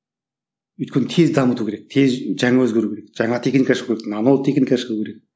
өйткені тез дамыту керек тез жаңа өзгеру керек жаңа техника ашу керек нано техника ашу керек